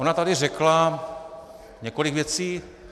Ona tady řekla několik věcí.